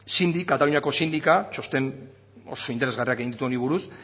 kataluniako txosten oso interesgarriak egin ditu honi buruz